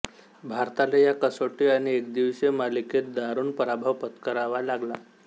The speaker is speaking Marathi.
भारताला या कसोटी आणि एकदिवसीय मालिकेत दारूण पराभव पत्करावा लागला